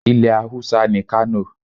Ilẹ̀ Haúsá ni Kano.